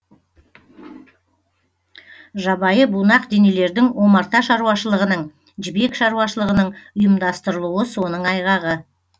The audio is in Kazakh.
жабайы бунақденелердің омарта шаруашылығының жібек шаруашылығының ұйымдастырылуы соның айғағы